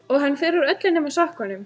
Og hann fer úr öllu nema sokkunum.